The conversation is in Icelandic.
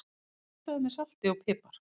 Kryddaðu með salti og pipar.